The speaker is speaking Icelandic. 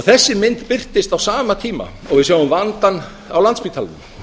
þessi mynd birtist á sama tíma og við sjáum vandann á landspítalanum